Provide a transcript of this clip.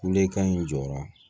Kulekan in jɔra